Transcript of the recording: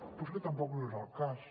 però és que tampoc no és el cas